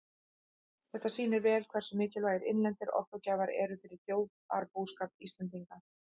Þetta sýnir vel hversu mikilvægir innlendir orkugjafar eru fyrir þjóðarbúskap Íslendinga.